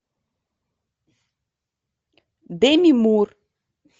деми мур